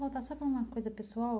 Vamos voltar só para uma coisa pessoal.